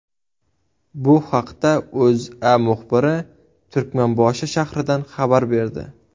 Bu haqda O‘zA muxbiri Turkmanboshi shahridan xabar berdi .